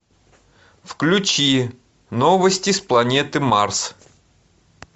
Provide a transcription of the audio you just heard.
включи новости с планеты марс